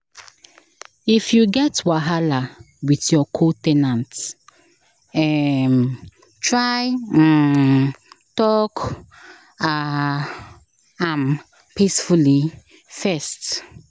If you get wahala with your co- ten ant, um try um talk um am peacefully first.